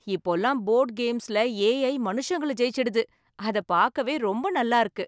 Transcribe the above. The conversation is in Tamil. இப்போல்லாம் போர்டு கேம்ஸ்ல ஏ.ஐ. மனுஷங்கள ஜெயிச்சிடுது, அதை பார்க்கவே ரொம்ப நல்லா இருக்கு.